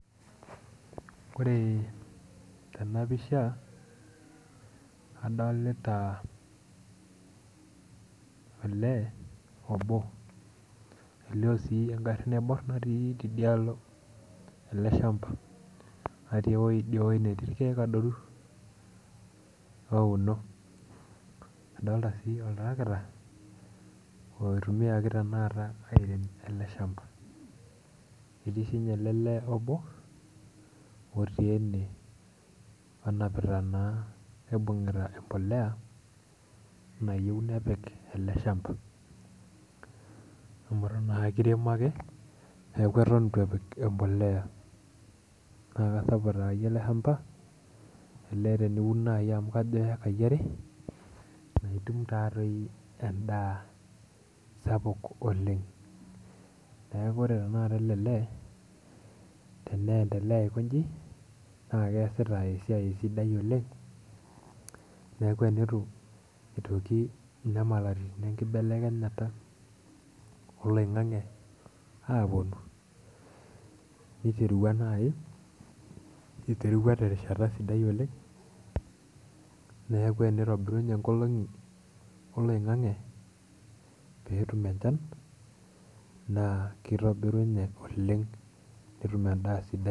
Ore tena pisha adolita olee obo elio sii engarri naiborr natii tidialo ele shamba natii ewoi idie woi netii irkeek adoru ouno adolta sii oltarakita oitumiaki tenakata airem ele shamba etii sinye ele lee obo otii ene onapita naa oibung'ita empoleya nayieu nepik ele shamba amu eton naa akiremo ake neeku eton itu epik empoleya naa kasapuk taayie ele shamba elee teniun naaji amu kajo keikayi are naitum taatoi endaa sapuk oleng neeku ore tenakata ele lee teneendelea aikonji naa keesita esiai sidai oleng neeku enitu itoki inyamalaritin enkibelekenyata oloing'ang'e aponu niterua naaji iterua terishata sidai oleng neeku enitobirunye inkolong'i oloing'ang'e peetum enchan naa kitobirunye oleng netum endaa sidai.